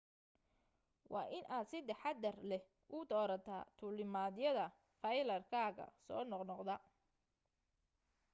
waa in aad si taxaddar leh u doorataa duulimaadyada flyer-kaaga soo noqnoqda